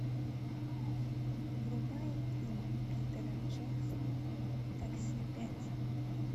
врубай фильм питера джексона такси пять